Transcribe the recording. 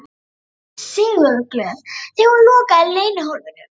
Hún var því sigurglöð þegar hún lokaði leynihólfinu.